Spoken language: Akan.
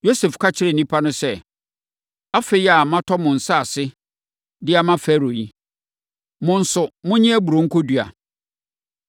Yosef ka kyerɛɛ nnipa no sɛ, “Afei a matɔ mo ne nsase de ama Farao yi, mo nso, monnye aburoo nkɔdua.